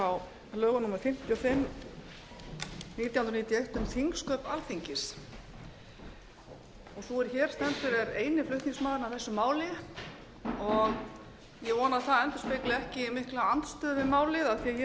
á lögum númer fimmtíu og fimm nítján hundruð níutíu og eitt um þingsköp alþingis sú er hér stendur er eini flutningsmaðurinn að þessu máli og ég vona að það endurspegli ekki mikla andstöðu við málið af því að ég tel